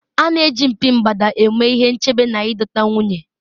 a na-eji mpi mgbada eme ihe nchebe na ịdọta nwunye